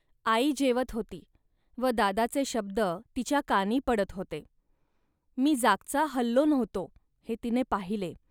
आई जेवत होती व दादाचे शब्द तिच्या कानी पडत होते. मी जागचा हललो नव्हतो, हे तिने पाहिले